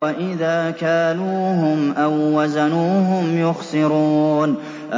وَإِذَا كَالُوهُمْ أَو وَّزَنُوهُمْ يُخْسِرُونَ